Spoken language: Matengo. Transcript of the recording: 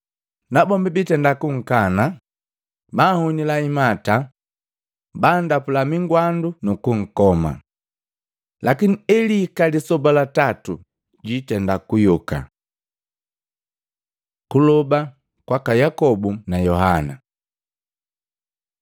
Nabombi bitenda kunkangasaki, banhunila imata, bandapula migwandu nukunkoma. Lakini elihika lisoba la tatu jwiitenda kuyoka.” Kuloba kwaka Yakobu na Yohana Matei 20:20-28